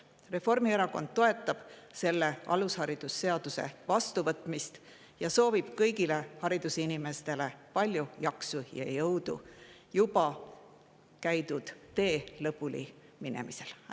Reformierakond toetab alusharidusseaduse vastuvõtmist ning soovib kõigile haridusinimestele palju jaksu ja jõudu juba tee lõpuni.